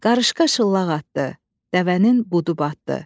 Qarışqa şıllağ atdı, dəvənin budu batdı.